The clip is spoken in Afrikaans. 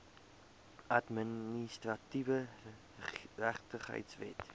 administratiewe geregtigheid wet